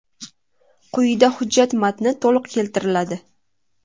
Quyida hujjat matni to‘liq keltiriladi.